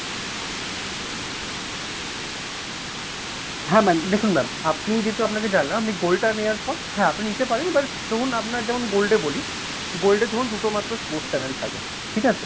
হ্যাঁ ma'am দেখুন ma'am আপনি যেহেতু আপনি gold টা নেয়ার পর হ্যাঁ আপনি নিতে পারেন but ধরুন আপনার যেমন gold ও বলি gold এ ধরুন দুটো মাত্র sports channel থাকে ঠিকাছে?